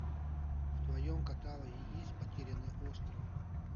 в твоем каталоге есть потерянный остров